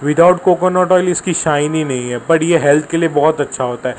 Without coconut oil इसकी shine नही है बट ये हेल्थ के लिए बहोत अच्छा होता है।